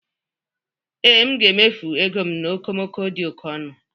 Ee, m ga-emefu ego m na okomoko dị oke ọnụ.